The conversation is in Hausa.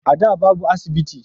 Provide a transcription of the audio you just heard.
A da babu asibiti